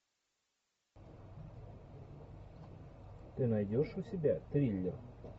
ты найдешь у себя триллер